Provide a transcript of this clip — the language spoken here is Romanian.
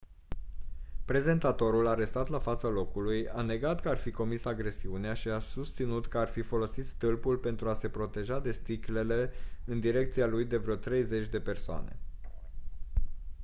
prezentatorul arestat la fața locului a negat că ar fi comis agresiunea și a susținut că ar fi folosit stâlpul pentru a se proteja de sticlele în direcția lui de vreo treizeci de persoane